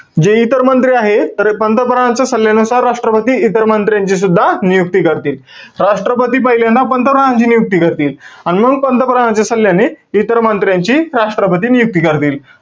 जे इतर मंत्री आहेत. तर हे पंतप्रधानाच्या सल्ल्यानुसार, राष्ट्रपती इतर मंत्र्यांचीसुद्धा नियुक्ती करतील. राष्ट्रपती पहिल्यांदा पंतप्रधानांची नियुक्ती करतील. अन मंग पंतप्रधानाच्या सल्ल्याने, इतर मंत्र्यांची, राष्ट्रपती नियुक्ती करतील.